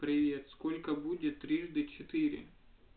привет сколько будет трижды четыре